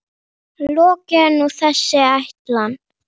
Lokið er nú þessi ætlan.